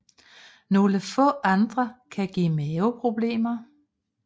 Nogle få andre kan give maveproblemer